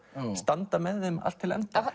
standa með þeim allt til enda